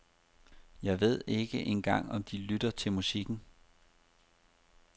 Jeg ved ikke engang om de lytter til musikken.